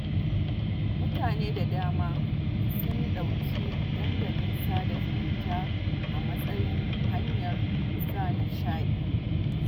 Mutane da dama sun ɗauki dandalin sada zumunta a matsayin hanyar sa nishaɗi